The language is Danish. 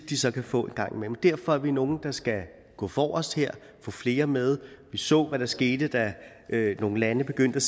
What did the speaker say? de så kan få en gang imellem derfor er vi nogle der skal gå forrest her få flere med vi så hvad der skete da nogle lande begyndte